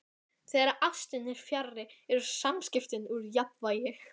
Dýrmætasti leikmaðurinn í ensku úrvalsdeildinni?